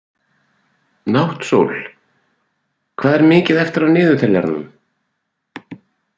Náttsól, hvað er mikið eftir af niðurteljaranum?